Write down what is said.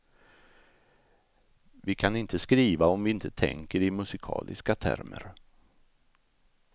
Vi kan inte skriva om vi inte tänker i musikaliska termer.